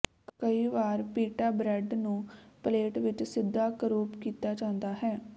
ਕਈ ਵਾਰ pita bread ਨੂੰ ਪਲੇਟ ਵਿਚ ਸਿੱਧਾ ਕਰੂਪ ਕੀਤਾ ਜਾਂਦਾ ਹੈ